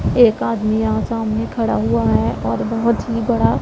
एक आदमी यहा सामने में खड़ा हुआ है और बहोत ही बड़ा--